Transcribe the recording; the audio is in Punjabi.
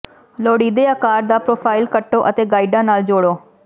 ਲੋੜੀਦੇ ਆਕਾਰ ਦਾ ਪ੍ਰੋਫਾਇਲ ਕੱਟੋ ਅਤੇ ਗਾਈਡਾਂ ਨਾਲ ਜੋੜੋ